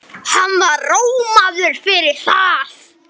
Hann var rómaður fyrir það.